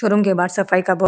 room के बाहर सफाई का बो --